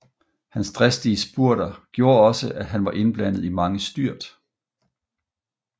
Hans dristige spurter gjorde også at han var indblandet i mange styrt